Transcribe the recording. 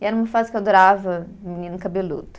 E era uma fase que eu adorava menino cabeludo.